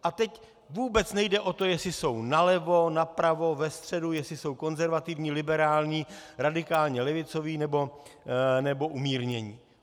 A teď vůbec nejde o to, jestli jsou nalevo, napravo, ve středu, jestli jsou konzervativní, liberální, radikální, levicoví nebo umírnění.